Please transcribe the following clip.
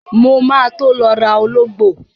Mo ma tó lọ rà ológbò.